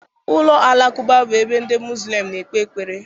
Ụlọ Alakụba bụ ebe ndị Muslim na-ekpe ekpere.